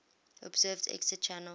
observed exit channel